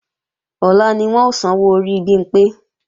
Ọ̀la ni wọ́n ó sanwó orí Bimpé